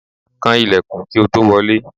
Kan ilẹ̀kùn kí o tó wọlé!